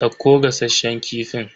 Dauko gasasshen kifin.